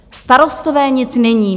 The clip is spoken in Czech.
Starostové nic nevědí.